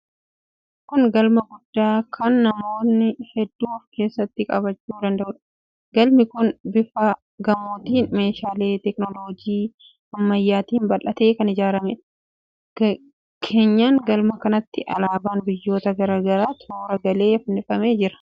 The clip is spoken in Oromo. Kun galma guddaa kan namoota hedduu of keessatti qabachuu danda'uudha. Galmi kun bifa gamootiin, meeshaalee teekinooloojii ammayyaatiin bal'atee kan ijaarameedha. Keenyan galma kanaatti alaabaan biyyoota garaa garaa toora galee fannifamee jira.